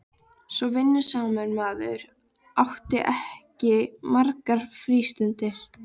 Svo vinnusamur maður átti ekki margar frístundir.